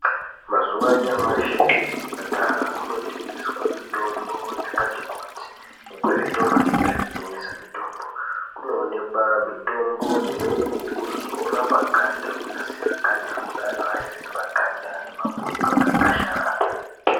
Mazuwa anyamashi kuchipatara kunotengeswe mitombo yakati kuti, nekuzvitoro zviya zvinotengese mitombo. Kunoonekwa mitombo imweni yekuzore paganda kunasira ganda kune antu aya ane ma